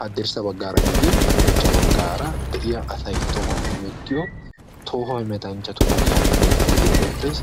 haddirssa bagan hemettiyoogan danuwappe attanna koshees.